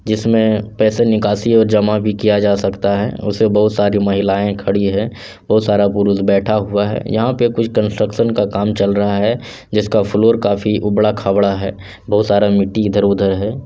जिसमें पैसा निकासी और जमा भी किया जा सकता है उसमें बहुत सारी महिलाएं खड़ी हैं बहुत सारा पुरुष बैठा हुआ है यहाँ पे कुछ कंस्ट्रक्शन का काम चल रहा है जिसका फ्लोर काफी उबड़ा-खबड़ा है बहुत सारा मिट्टी इधर-उधर है।